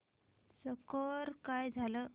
score काय झाला